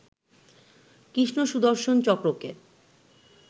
কৃষ্ণ সুদর্শন চক্রকে